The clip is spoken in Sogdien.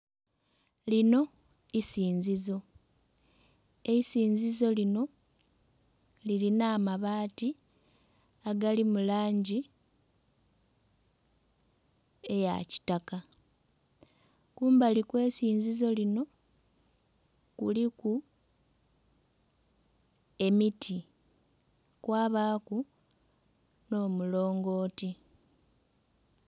Lino isinzizo. Eisinzizo lino, lilina amabaati agali mu langi eya kitaka. Kumbali kw'eisinzizo lino, kuliku emiti. Kwabaaku n'omulongooti.